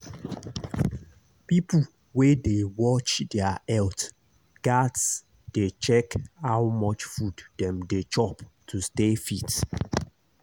people wey dey watch their health gats dey check how much food dem dey chop to stay fit.